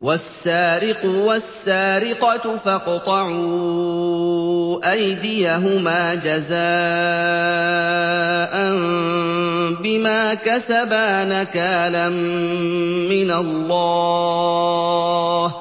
وَالسَّارِقُ وَالسَّارِقَةُ فَاقْطَعُوا أَيْدِيَهُمَا جَزَاءً بِمَا كَسَبَا نَكَالًا مِّنَ اللَّهِ ۗ